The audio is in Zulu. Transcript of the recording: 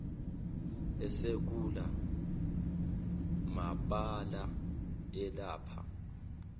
esekula mabala alapha